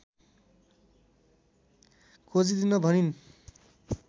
खोजिदिन भनिन्